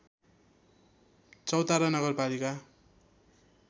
चौतारा नगरपालिका